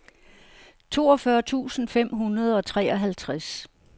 toogfyrre tusind fem hundrede og treoghalvtreds